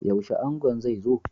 Yaushe angon zai zo?